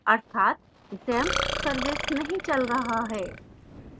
अर्थात xampp service नहीं चल रहा है